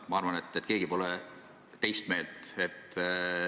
Ma arvan, et keegi pole teist meelt.